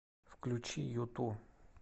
включи юту